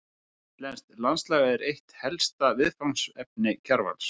Íslenskt landslag var eitt helsta viðfangsefni Kjarvals.